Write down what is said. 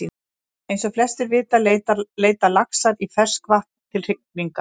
Eins og flestir vita leita laxar í ferskt vatn til hrygningar.